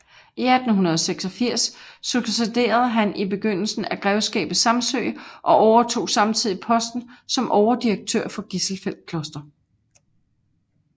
I 1886 succederede han i besiddelsen af Grevskabet Samsøe og overtog samtidig posten som overdirektør for Gisselfeld Kloster